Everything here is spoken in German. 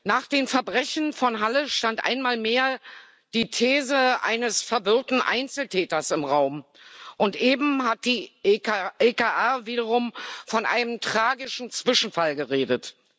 Nach den Verbrechen von Halle stand einmal mehr die These eines verwirrten Einzeltäters im Raum, und eben hat die EKR wiederum von einem tragischen Zwischenfall geredet.